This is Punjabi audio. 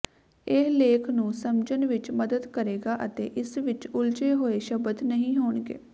ਇਹ ਲੇਖ ਨੂੰ ਸਮਝਣ ਵਿਚ ਮੱਦਦ ਕਰੇਗਾ ਅਤੇ ਇਸ ਵਿਚ ਉਲਝੇ ਹੋਏ ਸ਼ਬਦ ਨਹੀਂ ਹੋਣਗੇ